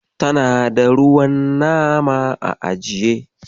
Tana da ruwan nama a ajiye.